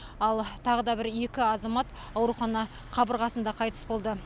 ал тағы да бір екі азамат аурухана қабырғасында қайтыс болды